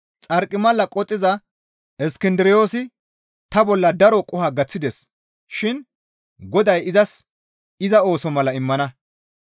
Xarqimala qoxxiza Iskindiroosi ta bolla daro qoho gaththides shin Goday izas iza ooso mala immana.